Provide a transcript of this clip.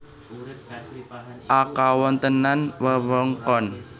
A Kawontenan wewengkon